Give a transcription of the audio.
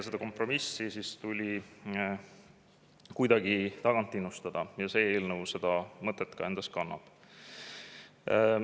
Seda kompromissi tuli kuidagi innustada ja see eelnõu seda mõtet endas kannab.